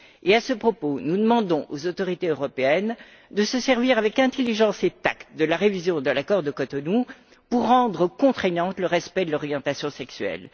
À ce propos, nous demandons aux autorités européennes de se servir avec intelligence et tact de la révision de l'accord de Cotonou pour rendre contraignant le respect de l'orientation sexuelle.